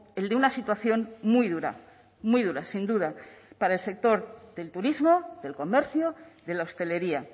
el de una situación muy dura muy dura sin duda para sector del turismo del comercio de la hostelería